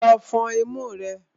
Lọ fọn imú rẹ!